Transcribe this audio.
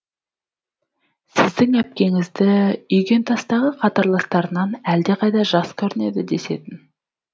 сіздің әпкеңізді үйгентастағы қатарластарынан әлдеқайда жас көрінеді десетін